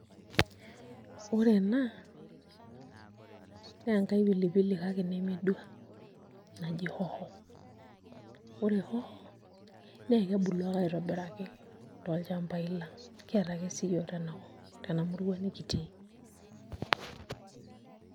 Ore ena naa enkai pili pili kake nemedua naji hoho, ore hoho naa kebulu ake aitobiraki tolchambai lang' kiata ake siyiook tenakop tena murua nikitii.